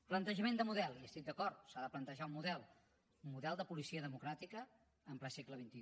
plantejament de model hi estic d’acord s’ha de plantejar un model un model de policia democràtica en ple segle xxi